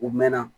U mɛnna